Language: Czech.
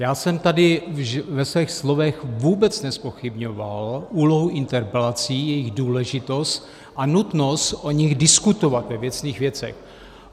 Já jsem tady ve svých slovech vůbec nezpochybňoval úlohu interpelací, jejich důležitost a nutnost o nich diskutovat ve věcných věcech.